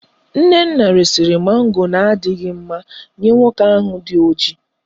Nnenna resiri mango na adighi mma Nye nwoke ahu di oji